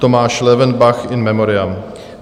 Tomáš Löwenbach, in memoriam.